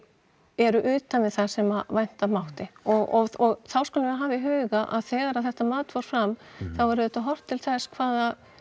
eru utan við það sem vænta mátti og þá skulum við hafa í huga að þegar þetta mat fór fram þá er auðvitað horft til þess hvaða